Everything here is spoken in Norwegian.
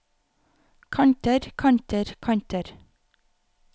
kanter kanter kanter